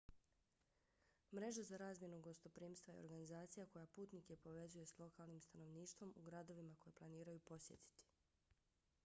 mreža za razmjenu gostoprimstva je organizacija koja putnike povezuje s lokalnim stanovništvom u gradovima koje planiraju posjetiti